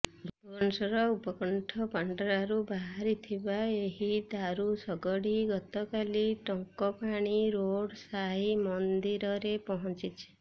ଭୁବନେଶ୍ୱର ଉପକଣ୍ଠ ପାଣ୍ଡରାରୁ ବାହାରିଥିବା ଏହି ଦାରୁ ଶଗଡ଼ି ଗତକାଲି ଟଙ୍କପାଣି ରୋଡ୍ ସାଇ ମନ୍ଦିରରେ ପହଞ୍ଚିଛି